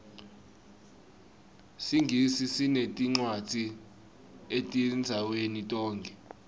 singisi sineticwadzi etindzaweni tonkhe